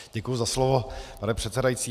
Děkuji za slovo, pane předsedající.